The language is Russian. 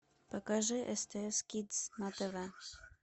покажи стс кидс на тв